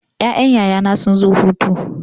Ƴaƴan yaya na sun zo hutu.